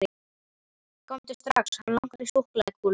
Komdu strax, hann langar í súkkulaðikúlur.